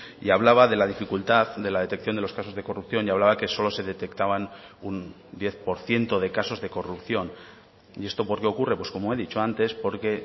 y hablaba de la dificultad de la detección de los casos de corrupción y hablaba que solo se detectaban un diez por ciento de casos de corrupción y esto por qué ocurre pues como he dicho antes porque